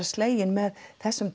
sleginn með þessari